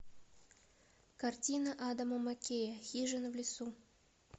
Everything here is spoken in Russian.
картина адама маккея хижина в лесу